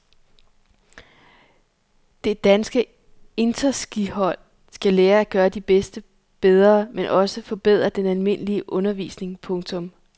Det danske interskihold skal lære at gøre de bedste bedre men også forbedre den almindelige undervisning. punktum